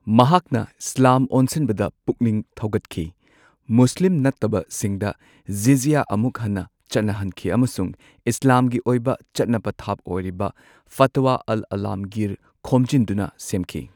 ꯃꯍꯥꯛꯅ ꯏꯁꯂꯥꯝ ꯑꯣꯟꯁꯤꯟꯕꯗ ꯄꯨꯛꯅꯤꯡ ꯊꯧꯒꯠꯈꯤ, ꯃꯨꯁꯂꯤꯝ ꯅꯠꯇꯕꯁꯤꯡꯗ ꯖꯤꯖ꯭ꯌꯥ ꯑꯃꯨꯛ ꯍꯟꯅ ꯆꯠꯅꯍꯟꯈꯤ ꯑꯃꯁꯨꯡ ꯏꯁꯂꯥꯝꯒꯤ ꯑꯣꯏꯕ ꯆꯠꯅ ꯄꯊꯥꯞ ꯑꯣꯏꯔꯤꯕ ꯐꯇꯋ ꯑꯜ ꯑꯂꯥꯝꯒꯤꯔ ꯈꯣꯝꯖꯤꯟꯗꯨꯅ ꯁꯦꯝꯈꯤ꯫